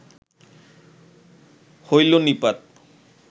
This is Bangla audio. হইল নিপাত